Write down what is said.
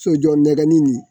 Sojɔ nɛgɛnni nin